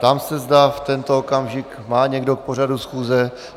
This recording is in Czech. Ptám se, zda v tento okamžik má někdo k pořadu schůze.